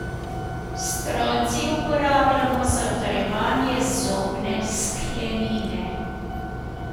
Stroncij uporabljamo za utrjevanje zobne sklenine.